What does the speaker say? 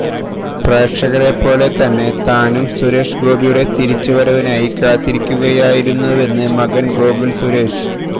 പ്രേക്ഷകരെപ്പോലെ തന്നെ താനും സുരേഷ് ഗോപിയുടെ തിരിച്ചു വരവിനായി കാത്തിരിക്കുകയായിരുന്നുവെന്ന് മകന് ഗോകുല് സുരേഷ്